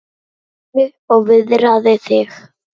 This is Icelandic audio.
Farðu og viðraðu þig